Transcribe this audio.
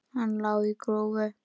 Hann lá á grúfu.